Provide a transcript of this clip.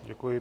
Děkuji.